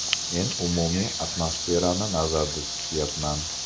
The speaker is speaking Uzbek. Men umumiy atmosferani nazarda tutyapman.